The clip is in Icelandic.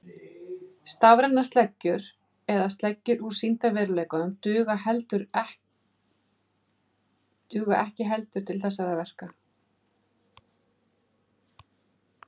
Stafrænar sleggjur eða sleggjur úr sýndarveruleikanum duga ekki heldur til þessara verka.